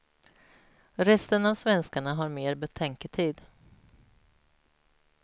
Resten av svenskarna har mer betänketid.